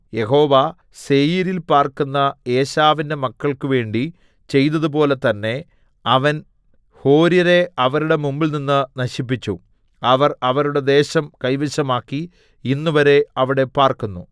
യഹോവ സേയീരിൽ പാർക്കുന്ന ഏശാവിന്റെ മക്കൾക്കുവേണ്ടി ചെയ്തതുപോലെ തന്നെ അവൻ ഹോര്യരെ അവരുടെ മുമ്പിൽനിന്ന് നശിപ്പിച്ചു അവർ അവരുടെ ദേശം കൈവശമാക്കി ഇന്നുവരെ അവിടെ പാർക്കുന്നു